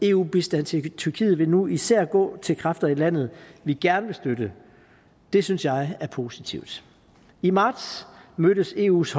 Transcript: eu bistand til tyrkiet vil nu især gå til kræfter i landet vi gerne vil støtte det synes jeg er positivt i marts mødtes eus